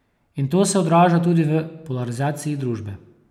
In to se odraža tudi v polarizaciji družbe.